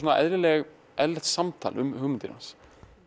eðlilegt eðlilegt samtal um hugmyndir manns